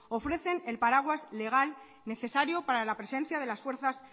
ofrecen el paraguas legal necesario para la presencia de las fuerzas